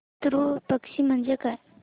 पितृ पक्ष म्हणजे काय